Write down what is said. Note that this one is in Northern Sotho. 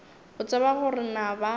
o tseba gore na ba